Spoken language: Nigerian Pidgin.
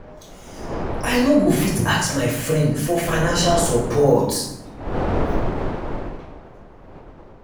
i no go fit ask my friend for financial support